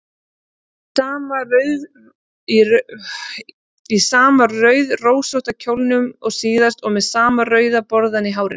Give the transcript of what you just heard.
Í sama rauðrósótta kjólnum og síðast og með sama rauða borðann í hárinu.